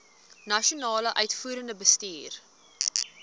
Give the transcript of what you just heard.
nasionale uitvoerende bestuur